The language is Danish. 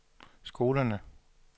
skolerne